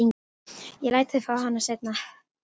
Ég læt þig fá hana seinna.